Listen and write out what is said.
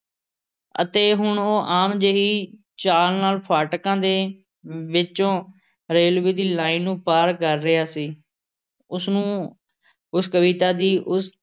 ਅਤੇ ਹੁਣ ਉਹ ਆਮ ਜਿਹੀ ਚਾਲ ਨਾਲ਼ ਫਾਟਕਾਂ ਦੇ ਵਿੱਚੋਂ ਰੇਲਵੇ ਦੀ ਲਾਈਨ ਨੂੰ ਪਾਰ ਕਰ ਰਿਹਾ ਸੀ । ਉਸ ਨੂੰ ਉਸ ਕਵਿਤਾ ਦੀ ਉਸ